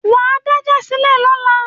Wà á dájà sílẹ̀ lọ́la